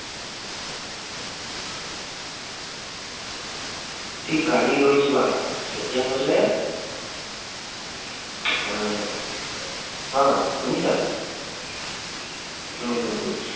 যদি গাড়ী লৈ যোৱা তেতিয়া হলে আহ আহ শুনিছা হম উম উম